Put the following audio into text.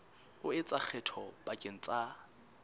o etsa kgetho pakeng tsa